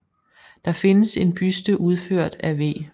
Der findes en buste udført af V